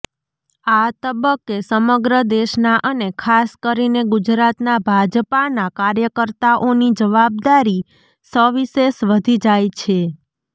આ તબક્કે સમગ્ર દેશના અને ખાસ કરીને ગુજરાતના ભાજપાના કાર્યકર્તાઓની જવાબદારી સવિશેષ વધી જાય છે